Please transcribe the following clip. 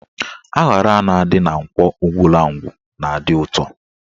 Aṅara a na-adị na Nkwọ Ugwulangwu na-adị ụtọ